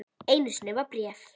Einu sinni var bréf.